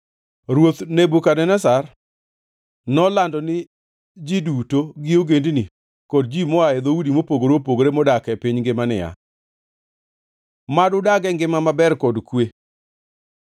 Ruoth Nebukadneza, Nolando ni ji duto gi ogendini kod ji moa e dhoudi mopogore opogore modak e piny ngima niya: Mad udag e ngima maber kod kwe.